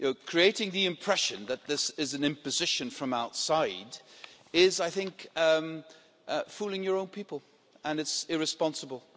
Creating the impression that this is an imposition from outside is, I think, fooling your own people and it is irresponsible.